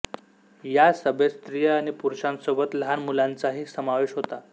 या सभेत स्त्रिया आणि पुरूषांसोबत लहान मुलांचाही समावेश होता